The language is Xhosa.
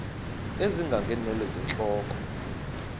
ezinga ngeenwele zentloko